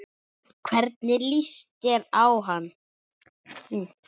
Hvernig líst þér á hann?